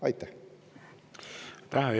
Aitäh!